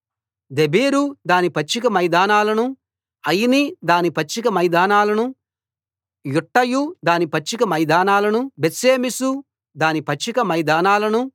దెబీరు దాని పచ్చిక మైదానాలనూ ఆయిని దాని పచ్చిక మైదానాలనూ యుట్టయు దాని పచ్చిక మైదానాలనూ బేత్షెమెషు దాని పచ్చిక మైదానాలనూ